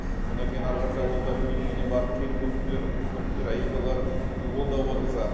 содан кейін әрі қарата ол да біреудің үйіне барып келін болып түсер қыз болып түсер әйел болар и ол да отырса